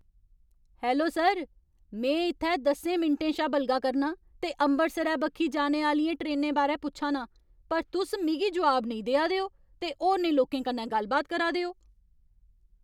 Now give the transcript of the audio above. Hello sir! में इ'त्थै दसें मिंटें शा बलगा करनां ते अमृतसरै बक्खी जाने आह्लियें ट्रेनें बारै पुच्छा नां पर तुस मिगी जोआब नेईं देआ दे ओ ते होरनें लोकें कन्नै गल्ल बात करा दे ओ।